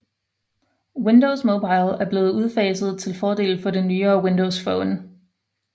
Windows Mobile er blevet udfaset til fordel for det nyere Windows Phone